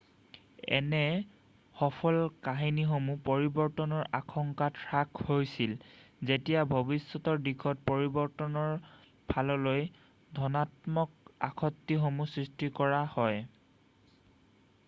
এনে সফল কাহিনীসমূহ পৰিৱৰ্তনৰ আশংকাত হ্ৰাস হৈছিল যেতিয়া ভৱিষ্যতৰ দিশত পৰিৱৰ্তনৰ ফাললৈ ধনাত্মক আসক্তিসমূহ সৃষ্টি কৰা হয়৷